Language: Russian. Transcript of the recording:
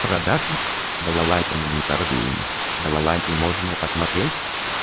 продажи балалайками не торгуем балалайки можно посмотреть